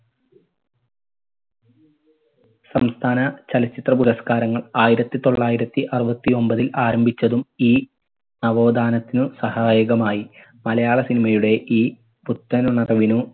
സംസ്ഥാന ചലച്ചിത്ര പുരസ്കാരങ്ങൾ ആയിരത്തി തൊള്ളായിരത്തി അറുപത്തി ഒൻപതിൽ ആരംഭിച്ചതും ഈ നവോഥാനത്തിനു സഹായകമായി മലയാള cinema യുടെ ഈ പുത്തൻ ഉണർവിനു